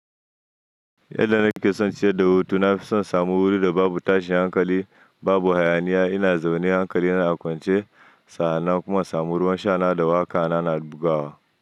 Yadda na ke son ciyar da hutu, na fi son na samu wuri da babu tashin hankali, babu hayaniya, ina zaune hankali na a kwance sa'anna kuma insamu ruwan sha na da wa ƙa ana na bugawa.